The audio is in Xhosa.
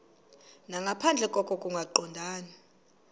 nangaphandle koko kungaqondani